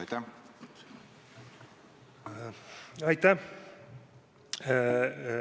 Aitäh!